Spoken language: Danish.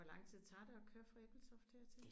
Men hvad hvor lang tid tager det at høre fra Ebeltoft hertil?